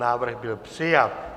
Návrh byl přijat.